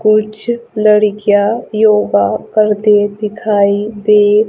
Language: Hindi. कुछ लड़कियां योगा करते दिखाई दे--